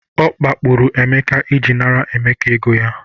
Ọ kpakpuru Emeka iji nara Emeka ego ya.